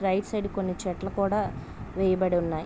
Right side కొన్ని చెట్లు కూడా వేయబడి ఉన్నాయి.